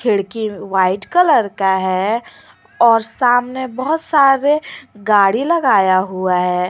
खिड़की white colour का है और सामने बहुत सारे गाड़ी लगाया हुआ है।